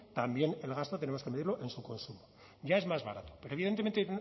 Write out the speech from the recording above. también el gasto tenemos que medirlo en su consumo ya es más barato pero evidentemente